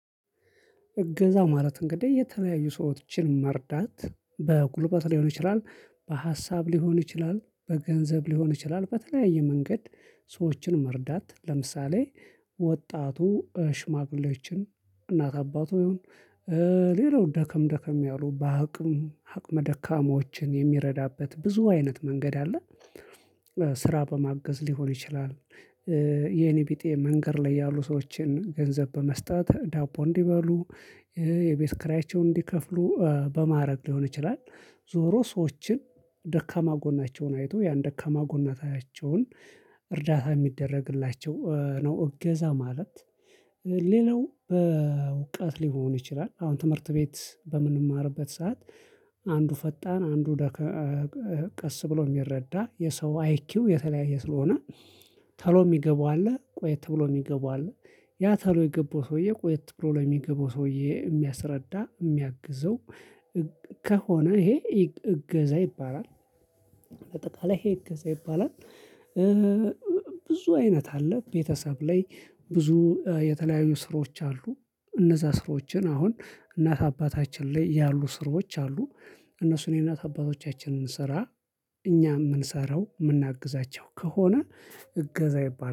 እገዛ ማለት እንግዲህ የተለያዩ ሰዎችን መርዳት በጉልበት ሊሆን ይችላል። በሀሳብ ሊሆን ይችላል በገንዘብ ሊሆን ይችላል በተለያየ መንገድ። ሰዎችን መርዳት ለምሳሌ ወጣቱ ሽማግሌዎችን እናት አባቱ እ ሌላው ደከም ደከም ያሉ በአቅም አቅመ ደካማዎችን የሚረዳበት ብዙ አይነት መንገድ አለ። ስራ በማገዝ ሊሆን ይችላል። እ የኔ ቢጤ መንገድ ላይ ያሉ ሰዎችን ገንዘብ በመስጠት ዳቦ እንዲበሉ የቤት ክራያቸውን እንዲከፍሉ በማድረግ ሊሆን ይችላል። ዞሮ ሰዎችን ደካማ ጎናቸውን አይቶ ያን ደካማ ጎናቸውን እርዳታ የሚደረግላቸው ነው እገዛ ማለት። ሌላው በውቀት ሊሆን ይችላል። አሁን ትምህርት ቤት በምንማርበት ሰዓት። አንዱ ፈጣን አንዱ ደካ እ ቀስ ብሎ የሚረዳ የሰው አይኪው የተለያየ ስለሆነ። ተሎ የሚገባው አለ ቆየት ተብሎ የሚገባው አለ። ያ ተሎ የገባው ሰውዬ ቆየት ብሎ ለሚገባው ሰውዬ የሚያስረዳ የሚያግዘው። ከሆነ ይሄ እገዛ ይባላል። ይሄገዘ ይባላል። ብዙ አይነት አለ። ቤተሰብ ላይ ብዙ የተለያዩ ስራዎች አሉ። እነዛ ስራዎችን አሁን እናት አባታችን ላይ ያሉ ስራዎች አሉ። እነሱ የእናት አታባቶቻችንን ስራ እኛ የምንሰራው ምናግዛቸው ከሆነ። እገዛ ይባላል